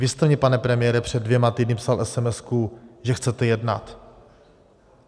Vy jste mně, pane premiére, před dvěma týdny psal esemesku, že chcete jednat.